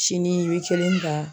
Sini i bɛ kelen ta.